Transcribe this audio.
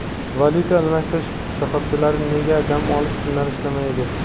"Valuta almashtirish shoxobchalari nega dam olish kunlari ishlamaydi?"